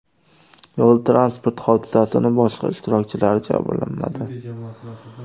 Yo‘l-transport hodisasining boshqa ishtirokchilari jabrlanmadi.